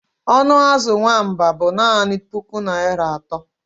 Ọnụ azụ nwamba bụ naanị puku naira atọ